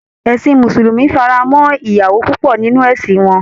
Ẹ̀sin mùsùlùmí fara mọ́ ìyàwó púpọ̀ nínú ẹ̀sin wọn